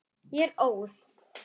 Ég er óð.